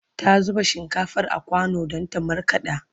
ta zuba shinkafar a kwano Dan ta markaɗa